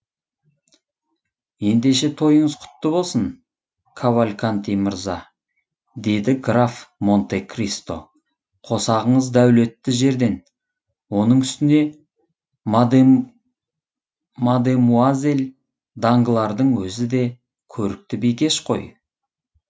ендеше тойыңыз құтты болсын кавальканти мырза деді граф монте кристо қосағыңыз дәулетті жерден оның үстіне мадемуазель данглардың өзі де көрікті бикеш қой